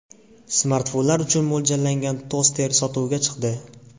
Smartfonlar uchun mo‘ljallangan toster sotuvga chiqdi.